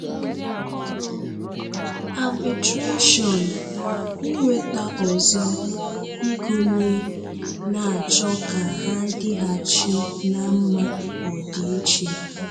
Arbitration-Inweta ọzọ ịgụ̀nye na-achọ ka ha dịghàchì ná mmà ọdịiche.